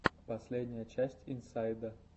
последняя часть инсайда